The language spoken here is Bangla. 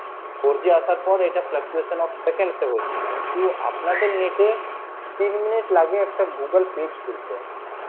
four G আসার পর এটা কিন্তু আপনাদের net এ তিন minute লাগে একটা Google page খুলতে